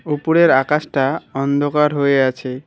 উপরের আকাশটা অন্ধকার হয়ে আছে।